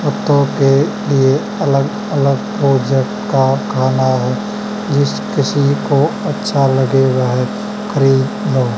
कुत्तों के लिए अलग अलग का खाना है जिस किसी को अच्छा लगे वह खरीद लो।